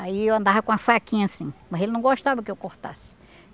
Aí eu andava com a faquinha assim, mas ele não gostava que eu cortasse.